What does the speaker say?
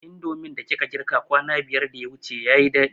Indomin da kika girka kwana biyar da yawuce yayi daɗi